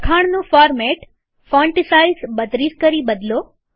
લખાણનું format font size 32 કરી બદલો